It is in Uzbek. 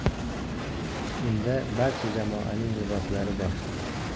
Unda barcha jamoaning liboslari bor.